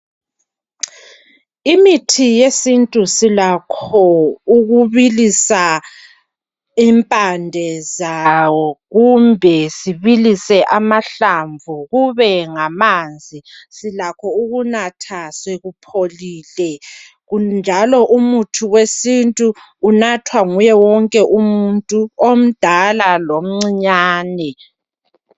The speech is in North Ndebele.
Imithi yesintu silakho ukubilisa impande zawo kumbe sibilise amahlamvu kube ngamanzi. Silakho ukunatha sekupholile. Ku, njalo umuthi wesintu unathwa nguye wonke umuntu, omdala lomncinyane.